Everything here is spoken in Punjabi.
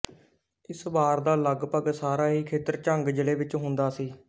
ਇਸ ਬਾਰ ਦਾ ਲੱਗਪੱਗ ਸਾਰਾ ਹੀ ਖੇਤਰ ਝੰਗ ਜ਼ਿਲ੍ਹੇ ਵਿੱਚ ਹੁੰਦਾ ਸੀ